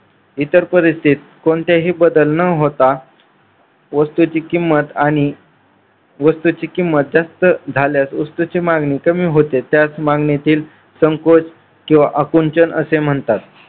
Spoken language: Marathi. इतर परिस्थितीत कोणतेही बदल न होता वस्तूची किंमत आणि वस्तूची किंमत जास्त झाल्यास वस्तूची मागणी कमी होते. त्यास मागणीतील संकोच किंवा अकुंचन असे म्हणतात.